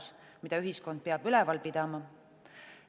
Seda peab ühiskond üleval pidama.